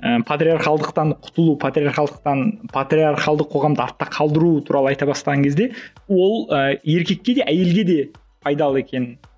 ы патриархалдықтан құтылу патриархалдықтан патриархалдық қоғамды артта қалдыру туралы айта бастаған кезде ол ы еркекке де әйелге де пайдалы екенін